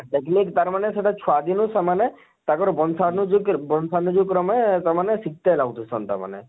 ତାର ମାନେ ସେଟା ଛୁଆ ଦିନୁ ସେମାନ ତାଙ୍କର ବଂଶାନୁ ଜେଇ କରି ବଂଶାନୁକ୍ରମେ ସେମାନେ ଗାଉ ଥିସନ ତାମାନେ